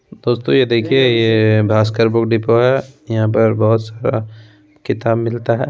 दोस्तों ये देखिए ये भास्कर बुक डेपो है। यहां पर बहोत सारा किताब मिलता है।